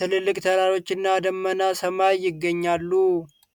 ትላልቅ ተራሮችና ደመናማ ሰማይ ይገኛሉ።